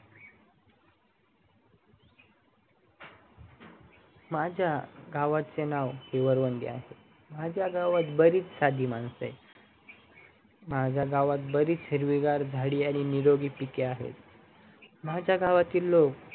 माझ्या गावाचे नाव हीवरवंगी आहे माझ्या गावात बरेच साधी मानसे आहेत माझ्या गावात बरीच हिरवी गार झाडी आणि निरोगी पिके अहते माझ्या गावातील लोक